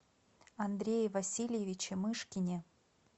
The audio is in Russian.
андрее васильевиче мышкине